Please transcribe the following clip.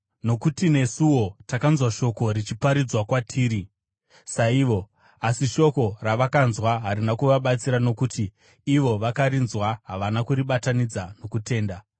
Nokuti nesuwo takanzwa vhangeri richiparidzwa kwatiri, saivo; asi shoko ravakanzwa harina kuvabatsira, nokuti ivo vakarinzwa havana kuribatanidza nokutenda.